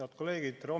Head kolleegid!